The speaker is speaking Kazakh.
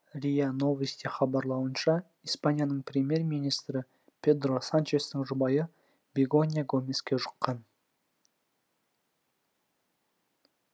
риа новости хабарлауынша испанияның премьер министрі педро санчестің жұбайы бегонья гомеске жұққан